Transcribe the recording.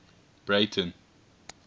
breyten